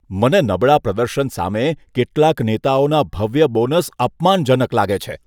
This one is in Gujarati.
મને નબળા પ્રદર્શન સામે કેટલાક નેતાઓના ભવ્ય બોનસ અપમાનજનક લાગે છે.